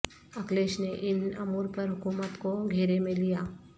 اکھلیش نے ان امور پر حکومت کو گھیرے میں لیا